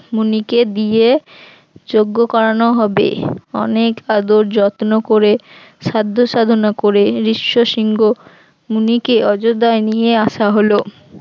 মুনিকে দিয়ে যজ্ঞ করানো হবে, অনেক আদর যত্ন করে সাধ্য সাধনা করে রিশ্ব সিংহ মুনিকে অযোধ্যায় নিয়ে আসা হলো